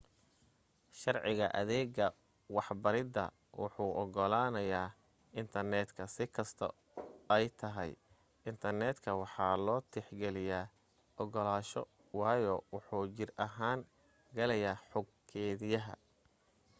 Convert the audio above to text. sharciga adeega warbahinta wuxuu ogolanayaa intarneetka si kasto ay tahay intarneetka waxaa loo tix geliya ogolaansho waayo wuxuu jir ahaan galayaa xog keediyaha